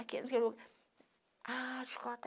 Aquilo... Ah, chicota.